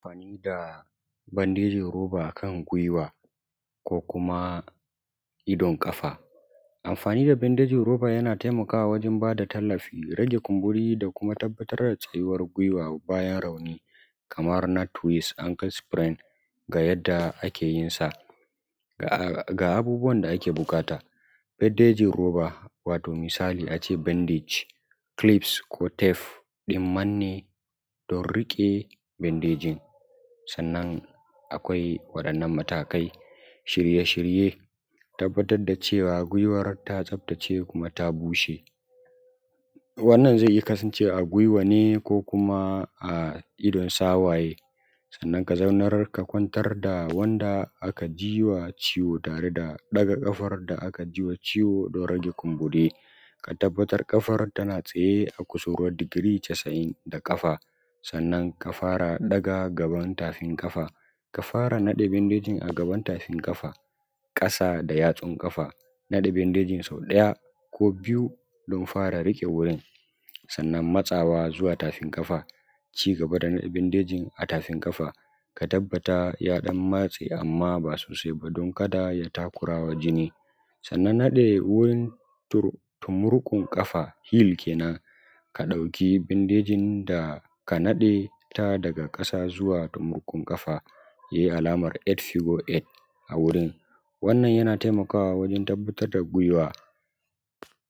amfani da bandejin roba akan gwiwa ko kuma idon kafa amfani da bandejin roba yana taimakawa wajen ba da tallafi rage kumburi da kuma tabbatar da tsayuwar gwiwa bayan rauni kaman na “twis ankle spring” ga yadda ake yin sa ga abubuwan da ake buƙata bandejin roba misali a ce “bandage clips” ko “tabe” ɗin manne don riƙe bandejin sannan akwai waɗannan matakai shirye shirye tabbatar da cewa gwiwar ta tsaftace kuma ta bushe wannan zai iya kasancewa a gwiwa ne ko kuma a idon sawaye sannan ka zaunar ka kwantar da wannan aka jiwa ciwon tare daga ƙafar da aka yiwa ciwon don rage kumbu:ri ka tabbatar ƙafar tana tsaye a kusurwar digiri casa`in da ƙafa sannan ka fara daga gaban tafin ƙafa ka fara naɗe bandejin a gaban tafin ƙafa ƙasa da yatsun ƙafa nada bandejin sau ɗaya ko biyu don ɸa:ra riƙe: wurin sannan matsawa zuwa tafin ƙafa cigaba da naɗe bandejin a tafin ƙafa ka tabbatar ya dan matse amma ba sosai ba don kada ya takurawa jini sannan dade wurin ta tumurkun ƙafa “hile” kenan ka dauki bandejin da ka naɗe ta daga ƙasa zuwa tumurkun ƙafa yayi alamar “eight figure eight”a wurin wannan yana taimakawa wajen tabbatar da gwiwa